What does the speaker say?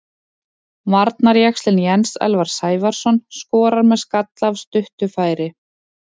Varnarjaxlinn Jens Elvar Sævarsson skorar með skalla af stuttu færi.